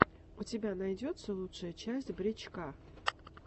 у тебя найдется лучшая часть брич ка